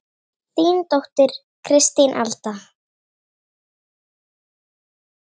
Þín dóttir Kristín Alda.